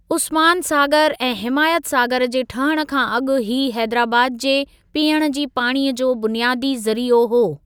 उस्मान सागर ऐं हिमायत सागर जे ठहणु खां अॻु हीअ हेदराबाद जे पीअणु जे पाणीअ जो बुनियादी ज़रीओ हो।